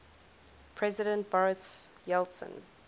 president boris yeltsin